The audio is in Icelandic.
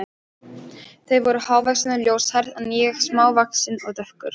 Þau voru hávaxin og ljóshærð, en ég smávaxinn og dökkur.